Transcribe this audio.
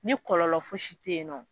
Ni kɔlɔ fo si te yen nɔ